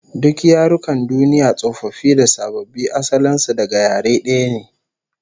Duk yarukan duniya tsofaffi da sababbi, asalin su daga yare daya ne